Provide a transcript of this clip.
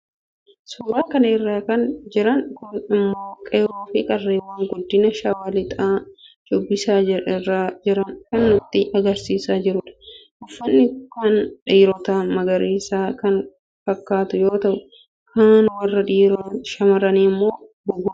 suuraa kana irra kan jiran kun immoo qeerroofi qarreewwan godina shawaa lixaa shubbisa irra jiran kan nutti agarsiisaa jirudha. uffanni kan dhiirotaa magariisa kan fakkaatu yoo ta'u kan warra shaamarranii immoo buburreedha.